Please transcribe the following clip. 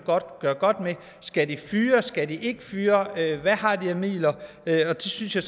gøre godt med skal de fyre eller skal de ikke fyre hvad har de af midler det synes jeg